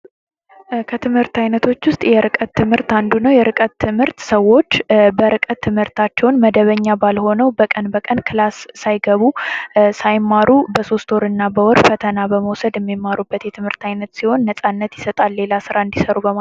ከትምህርት አይነቶች ውስጥ የርቀት ትምህርት አንዱ ነው የርቀት ትምህርት ሰዎች በረቀት ትምህርታቸውን መደበኛ ባልሆነው በቀን በቀን ክላስ ሳይገቡ እና በወር ፈተና በመውሰድ የሚማሩበት የትምህርት ሲሆን ነጻነት ይሰጣል ሌላ ስራ እንዲሰሩ።